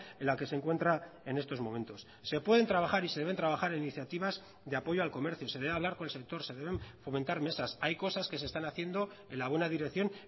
en la que se encuentra en estos momentos se pueden trabajar y se deben trabajar iniciativas de apoyo al comercio se debe hablar con el sector se deben fomentar mesas hay cosas que se están haciendo en la buena dirección